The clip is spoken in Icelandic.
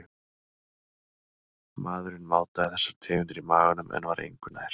Maðurinn mátaði þessar tegundir í maganum en var engu nær.